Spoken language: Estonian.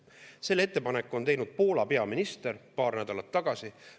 Selle ettepaneku on teinud Poola peaminister paar nädalat tagasi.